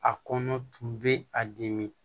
A kɔnɔ tun bɛ a dimi